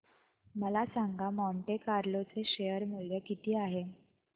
मला सांगा Monte Carlo चे शेअर मूल्य किती आहे